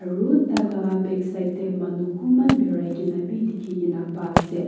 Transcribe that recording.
aru talaka backside tae manu kunba birai kaena dikhikaena paase.